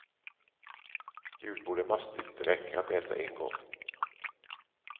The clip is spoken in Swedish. Julbord är mastigt, det räcker att äta en gång.